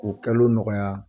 Ko nɔgɔya.